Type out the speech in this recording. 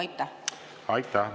Aitäh!